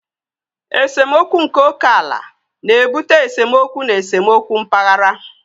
Esemokwu nke oke ala na-ebute esemokwu na esemokwu mpaghara.